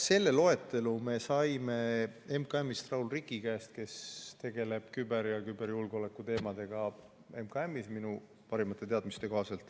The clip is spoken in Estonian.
Selle loetelu me saime Raul Riki käest, kes minu parimate teadmiste kohaselt tegeleb MKM‑is küberjulgeoleku teemadega.